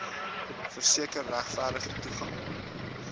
verseker regverdige toegang